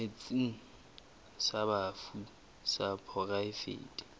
setsheng sa bafu sa poraefete